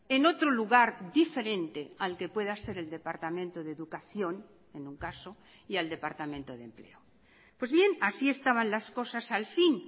en otro lugar diferente al que pueda ser el departamento de educación en un caso y al departamento de empleo pues bien así estaban las cosas al fin